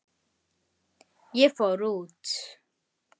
Ég fór út.